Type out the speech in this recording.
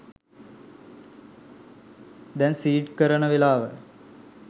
දැන් සීඩ් කරන වෙලාව